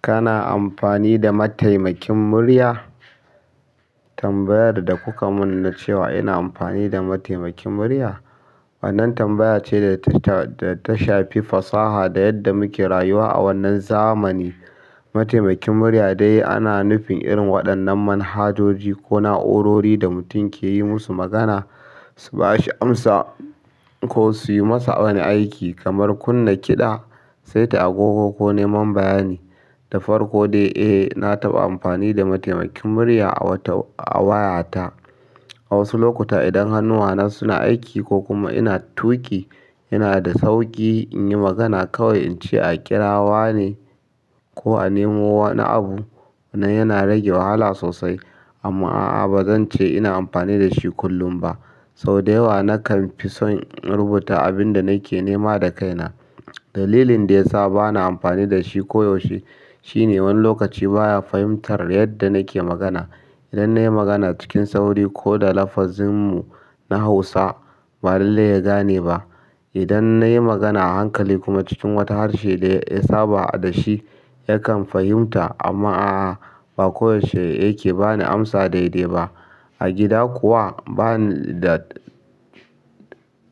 Kana amfani da mataimakin murya? Tambayar da kuka mun na cewa ina amfani da mataimakin murya? Wannan tambaya ce da ta shafi fasaha da yadda muke rayuwa a wannan zamani. Mataimakin murya dai ana nufin irin waɗannan manhajoji ko na'urori da mutum ke yi musu magana, su bashi amsa ko suyi masa wani aiki kamar kunna kiɗa saita agogo ko neman bayani da farko dai, eh na taɓa amfani da mataimakin murya a wayata. A wasu lokuta idan hannuwana suna aiki ko kuma ina tuƙi, yana da sauƙi in yi magana kawai in ce a ƙira wa ne ko a nemo wani abu. Wannan yana rage wahala sosai. Amma a'a ba zan ce ina amfani da shi kullum ba. Sau da yawa nakan fi son in rubuta abin da nake nema da kaina. Dalilin da ya sa ba na amfani da shi koyaushe shine wani lokaci baya fahimtar yadda nake magana. Idan na yi magana cikin sauri ko da lafazinmu na Hausa, ba lalle ya gane ba. Idan na yi magana a hankali kuma cikin wata harshe da ya saba da shi, yakan fahimta amma a'a ba koyaushe yake ba ni amsa daidai ba. A gida kuwa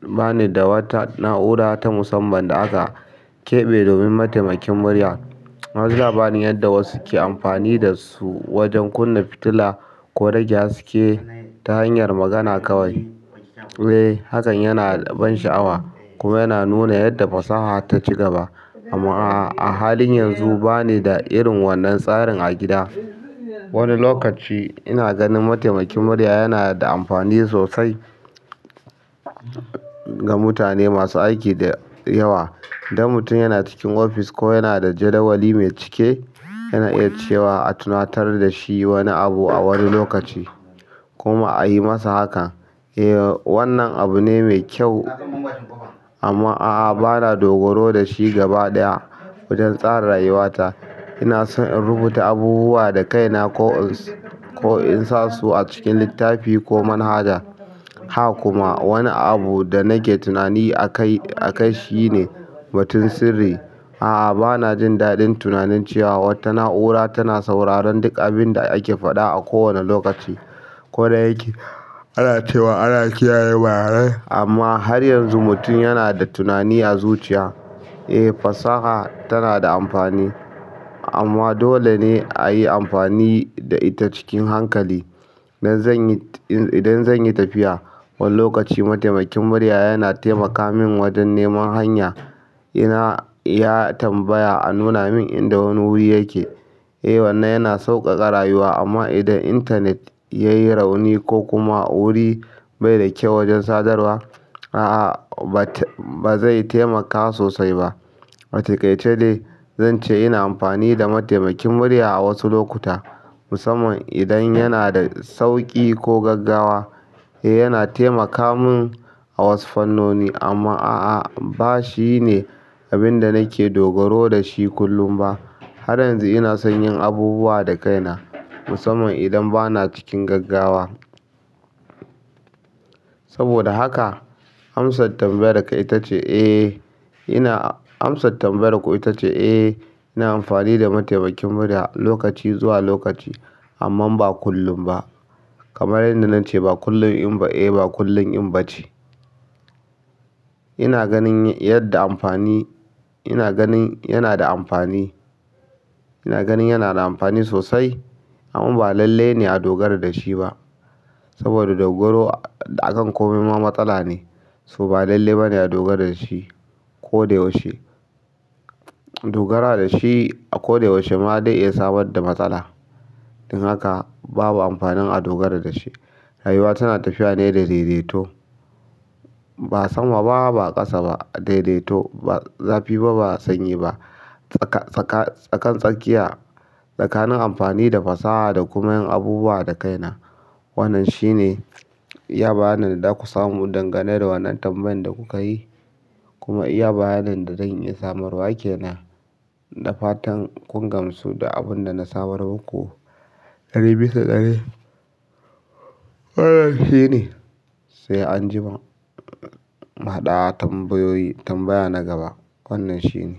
bani da wata na'ura ta musamman da aka keɓe domin mataimakin murya. Wani zaabani yadda wasu ke amfani da su wajen kunna fitila ko rage haske ta hanyar magana kawai. Eh hakan yana ban sha'awa kuma yana nuna yadda fasaha ta ci gaba. Amma a halin yanzu ba ni da irin wannan tsarin a gida. Wani lokaci ina ganin mataimakin murya yana da amfani sosai ga mutane masu aiki da yawa. Idan mutum yana cikin ofis ko yana da jadawali mai cike, yana iya cewa a tunatar da shi wani abu a wani lokaci kuma a yi masa haka. Eh wannan abu ne mai kyau amma a'a ba na dogaro da shi gaba ɗaya. Wajen tsara rayuwata ina son in rubuta abubuwa da kaina ko ins. Ko in sa su a cikin littafi ko manhaja. Haka kuma wani abu da nake tunani akai shi ne batun sirri. A'a ba na jin daɗin tunanin cewa wata na'ura tana sauraron duk abin da ake faɗa a kowane lokaci. Ko da yake ana cewa ana kiyaye bayanan, amma har yanzu mutum yana da tunani a zuciya. Eh fasaha tana da amfani amma dole ne a yi amfani da ita cikin hankali. Idan zan yi tafiya, wani lokaci mataimakin murya yana taimaka min wajen neman hanya. Ina ya tambaya a nuna min inda wani wuri yake. Eh wannan yana sauƙaƙa rayuwa amma idan intanet ya yi rauni ko kuma wuri bai da kyau wajen sadarwa, a'a ba zai taimaka sosai ba. Ataikaica dai zan ce ina amfani da mataimakin murya a wasu lokuta musamman idan yana da sauƙi ko gaggawa. Eh yana taimaka min a wasu fannoni amma a'a ba shine abin da nake dogaro da shi kullum ba. Har yanzu ina son yin abubuwa da kaina musamman idan bana cikin gaggawa. Saboda haka amsar tambayar ka ita ce eh ina amsa tambayar ku itace eh amfani da mataimakin murya lokaci zuwa lokaci amma ba kullum ba. Kamar yanda na ce ba kullum in ba eh ba kullum in ba ce. Ina ganin yana da amfani sosai amma ba lalle ne a dogara da shi ba saboda dogaro akan komai ma matsala ne so ba lallai bane a dogara dashi koda yaushe dogara dashi akoda yaushe ma zai iya samar da matsala don haka babu amfanin a dogara da shi. Rayuwa tana tafiya ne da daidaito. Ba sama ba ba ƙasa ba, daidaito. Ba zafi ba ba sanyi ba tsaka tsaka tsakan tsakanin amfani da fasaha da kuma yin abubuwa da kaina. Wannan shine. Iya bayanin da zaku samu dangane da wannan tambayan da kuka yi kuma uya bayanin da zan iya samarwa kenan da fatan kun gamsu da abin da na samar muku. Ɗari bisa ɗari. Wannan shine. Sai an jima. Muhadu a tambayoyi tambaya na gaba. Wannan shine.